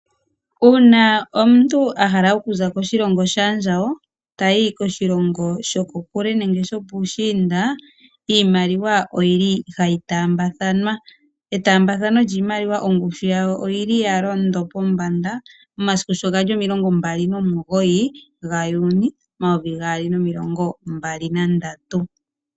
Uuna omuntu a hala okuza koshilongo shaandjawo tayi koshilongo shoko kule nenge shopuushiinda iimaliwa oyili hayi taambathanwa. Etambathano lyoshimaliwa pngushu yawo oyili ya londo pombanda momasiku sho ga li 29 Juuni 2023.